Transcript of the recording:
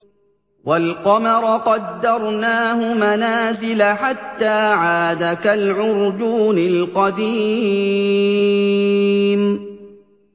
وَالْقَمَرَ قَدَّرْنَاهُ مَنَازِلَ حَتَّىٰ عَادَ كَالْعُرْجُونِ الْقَدِيمِ